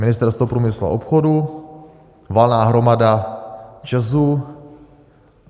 Ministerstvo průmyslu a obchodu, valná hromada ČEZ?